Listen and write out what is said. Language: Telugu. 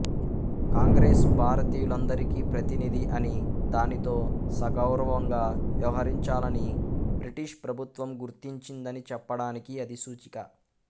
కాంగ్రెసు భారతీయులందరికీ ప్రతినిధి అని దానితో సగౌరవంగా వ్యవహరించాలనీ బ్రిటిషు ప్రభుత్వం గుర్తించిందని చెప్పడానికి అది సూచిక